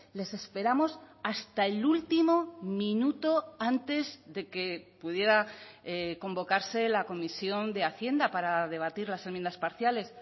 les esperamos hasta el último minuto antes de que pudiera convocarse la comisión de hacienda para debatir las enmiendas parciales